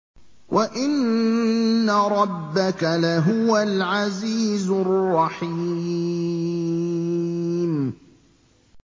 وَإِنَّ رَبَّكَ لَهُوَ الْعَزِيزُ الرَّحِيمُ